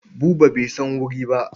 Buba bai san wuri ba.